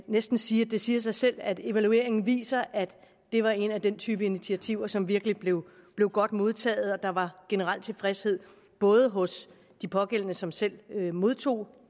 næsten sige at det siger sig selv at evalueringen viser at det var en af den type initiativer som virkelig blev blev godt modtaget og der var generel tilfredshed både hos de pågældende som selv modtog